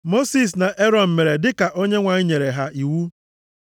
Mosis na Erọn mere dịka Onyenwe anyị nyere ha iwu.